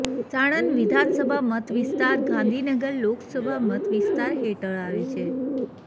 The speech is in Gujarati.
સાણંદ વિધાનસભા મત વિસ્તાર ગાંધીનગર લોકસભા મત વિસ્તાર હેઠળ આવે છે